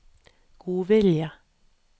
godvilje